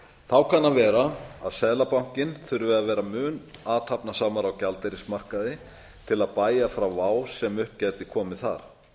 þá kann að vera að seðlabankinn þurfi að vera mun athafnasamari á gjaldeyrismarkaði til að bægja frá vá sem upp gæti komið þar